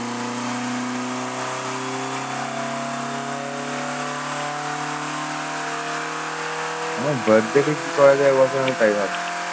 আমার birth day তে কি করা যায় এ বছর আমি তাই ভাবছি।